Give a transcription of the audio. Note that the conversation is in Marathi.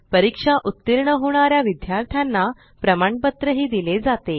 परीक्षा उतीर्ण होणा या विद्यार्थ्यांना प्रमाणपत्रही दिले जाते